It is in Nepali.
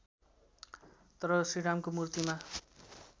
तर श्रीरामको मूर्तिमा